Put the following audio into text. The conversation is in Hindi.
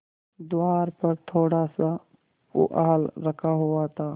द्वार पर थोड़ासा पुआल रखा हुआ था